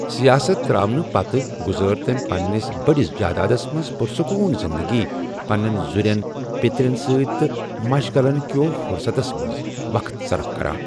سیاست تر٘اونہٕ پتہٕ گُزٲر تٔمہِ پننِس بڈِس جادادس منز پُرسکون زِندگی، پننٮ۪ن زُرٮ۪ن پٗترین سۭتۍ تہٕ مشغلن كِہو فٗرستس منز وقت صَرف كران ۔